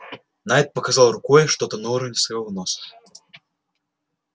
найд показал рукой что-то на уровне своего носа